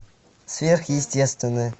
сверхъестественное